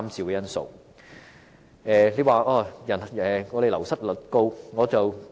有人提出醫護人員的流失率高。